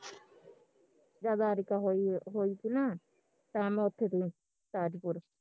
ਜਦ ਆਰਿਕਾ ਹੋਈ ਹੋਈ ਤੀ ਨਾ ਤਾਂ ਮੈਂ ਉੱਥੇ ਤੀ ਤਾਜਪੁਰ